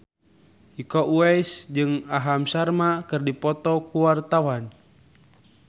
Iko Uwais jeung Aham Sharma keur dipoto ku wartawan